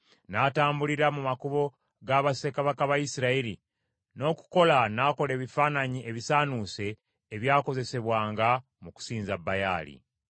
N’atambulira mu makubo ga bassekabaka ba Isirayiri, n’okukola n’akola ebifaananyi ebisaanuuse ebyakozesebwanga mu kusinza Baali.